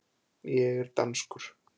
Ég er danskur.